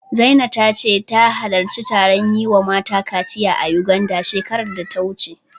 Zina ta ce, ta halarci taron yi wa mata kaciya a Yuganda, shekarar da ta wuce.